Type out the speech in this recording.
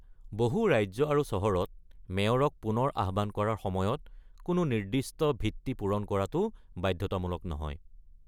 বহু ৰাজ্য আৰু চহৰত মেয়ৰক পুনৰ আহ্বান কৰাৰ সময়ত কোনো নিৰ্দিষ্ট ভিত্তি পূৰণ কৰাটো বাধ্যতামূলক নহয়।